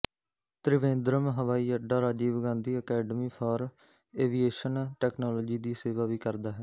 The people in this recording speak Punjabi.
ਤ੍ਰਿਵੇਂਦਰਮ ਹਵਾਈ ਅੱਡਾ Rajiv Gandhi academy for aviation technology ਦੀ ਸੇਵਾ ਵੀ ਕਰਦਾ ਹੈ